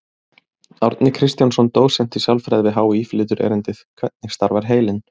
Árni Kristjánsson, dósent í sálfræði við HÍ, flytur erindið: Hvernig starfar heilinn?